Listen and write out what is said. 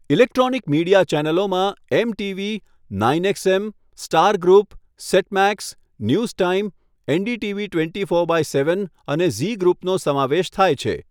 Electronic media ચેનલોમાં MTV, nine XM, Star group, Set Max, News Time, NDTV twenty four by seven અને Zee ગ્રૂપનો સમાવેશ થાય છે.